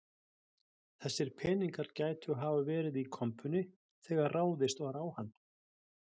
Þessir peningar gætu hafa verið í kompunni þegar ráðist var á hann